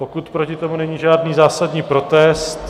Pokud proti tomu není žádný zásadní protest.